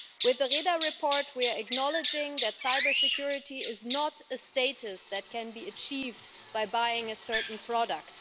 With the Reda report we are acknowledging that cybersecurity is not a status that can be achieved by buying a certain product.